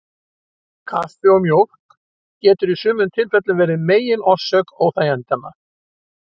Kaffi og mjólk getur í sumum tilfellum verið megin orsök óþægindanna.